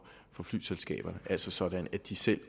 flyselskaber altså sådan at de selv